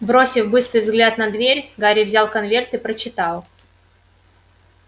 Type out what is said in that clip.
бросив быстрый взгляд на дверь гарри взял конверт и прочитал